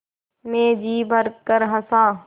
मैं जी भरकर हँसा